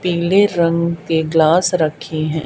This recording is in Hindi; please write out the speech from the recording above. पीले रंग के ग्लास रखे है।